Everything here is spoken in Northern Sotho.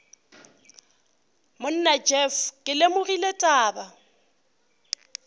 monna jeff ke lemogile taba